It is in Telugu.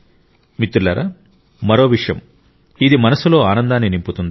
మిత్రులారా మరో విషయం ఇది మనస్సులో ఆనందాన్ని నింపుతుంది